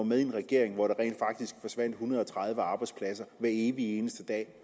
med i en regering hvor der rent faktisk forsvandt en hundrede og tredive arbejdspladser hver evig eneste dag